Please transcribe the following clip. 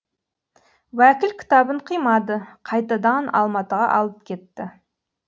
уәкіл кітабын қимады қайтадан алматыға алып кетті